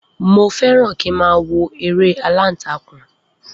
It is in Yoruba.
Mo fẹ́ràn kí ń má wo eré aláǹtakùn.